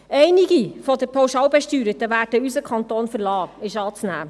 – Es ist anzunehmen, dass einige der Pauschalbesteuerten unseren Kanton verlassen werden.